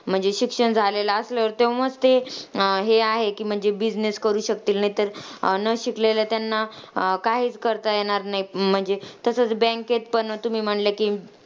म्हणजे शिक्षण झालेलं असल्यावर तेंव्हाच ते अं हे आहे की म्हणजे business करू शकतील. नाहीतर न शिकलेल्या त्यांना अं काहीच करता येणार नाही. म्हणजे तसंच bank मध्ये पण तुम्ही म्हणल्या की,